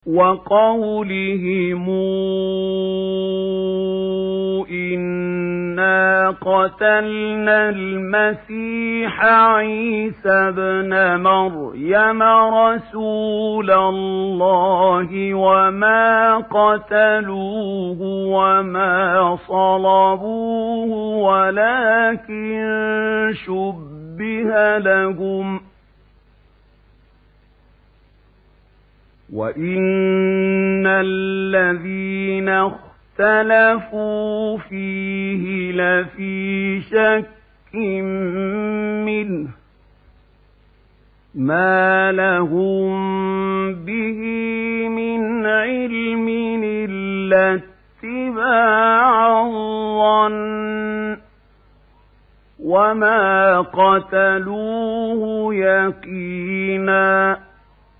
وَقَوْلِهِمْ إِنَّا قَتَلْنَا الْمَسِيحَ عِيسَى ابْنَ مَرْيَمَ رَسُولَ اللَّهِ وَمَا قَتَلُوهُ وَمَا صَلَبُوهُ وَلَٰكِن شُبِّهَ لَهُمْ ۚ وَإِنَّ الَّذِينَ اخْتَلَفُوا فِيهِ لَفِي شَكٍّ مِّنْهُ ۚ مَا لَهُم بِهِ مِنْ عِلْمٍ إِلَّا اتِّبَاعَ الظَّنِّ ۚ وَمَا قَتَلُوهُ يَقِينًا